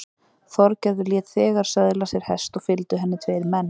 Þorgerður lét þegar söðla sér hest og fylgdu henni tveir menn.